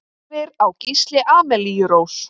Fyrir á Gísli Amelíu Rós.